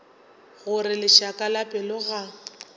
gore lešaka la pelo ga